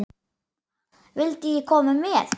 Vildi ég koma með?